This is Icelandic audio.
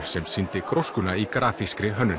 sem sýndi gróskuna í grafískri hönnun